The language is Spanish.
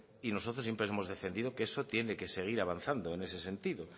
y nosotros siempre hemos defendido que eso tiene que seguir avanzando en ese sentido